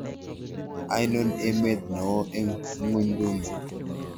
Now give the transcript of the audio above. Ainon emet neo eng' ng'wonynduni